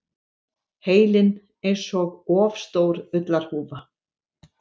Heilinn einsog of stór ullarhúfa.